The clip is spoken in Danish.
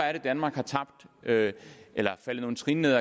er at danmark er er faldet nogle trin ned